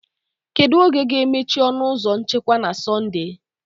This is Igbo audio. Kedu oge ga-emechi ọnụ ụzọ nchekwa na Sọnde?